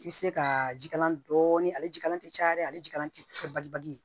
I bɛ se ka jikalanlan dɔɔnin ale jikalan tɛ caya dɛ ale jikalan tɛ bali bali ye